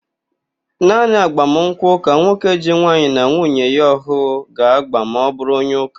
Naanị agbamụnkwụ ka nwoke ji nwaanyị na nwuye ya ọhụụ ga-ágbà ma ọbụrụ onye ụ́kà.